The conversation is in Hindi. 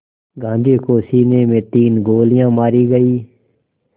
गांधी को सीने में तीन गोलियां मारी गईं